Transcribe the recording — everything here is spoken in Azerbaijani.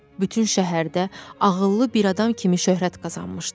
Bütün şəhərdə ağıllı bir adam kimi şöhrət qazanmışdı.